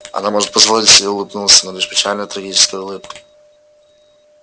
она может позволить себе улыбнуться но лишь печальной трагической улыбкой